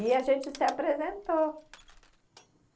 E a gente se apresentou.